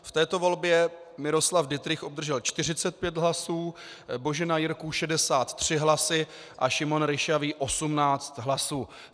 V této volbě Miroslav Dittrich obdržel 45 hlasů, Božena Jirků 63 hlasy a Šimon Ryšavý 18 hlasů.